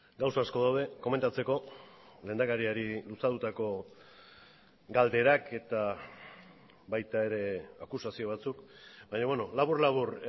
gauza asko daude komentatzeko lehendakariari luzatutako galderak eta baita ere akusazio batzuk baina labur labur